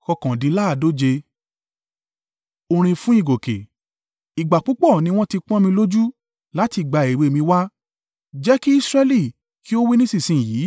Orin fún ìgòkè. “Ìgbà púpọ̀ ni wọ́n ti pọ́n mi lójú láti ìgbà èwe mi wá,” jẹ́ kí Israẹli kí ó wí nísinsin yìí;